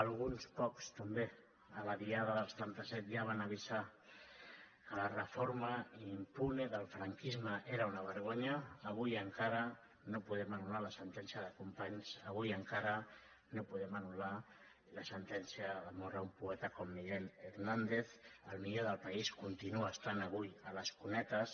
alguns pocs també en la diada del setanta set ja van avisar que la reforma impune del franquisme era una vergonya avui encara no podem anul·lar la sentència de companys avui encara no podem anul·lar la sentència de mort a un poeta com miguel hernández el millor del país continua estant avui a les cunetes